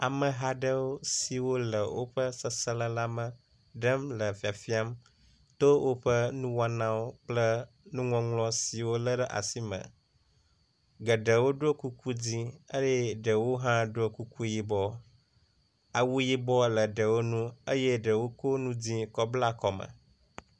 Ameha aɖewo siwo le woƒe seselelãme ɖem le fia fiam to woƒe nuwɔnawo kple nuŋɔŋlɔ siwo wolé ɖe asime. Geɖewo ɖo kuku dzĩ eye ɖewo hã ɖo kuku yibɔ. Awu yibɔ le aɖewo ŋu eye ɖewo ko nu dzĩ kɔ bla kɔme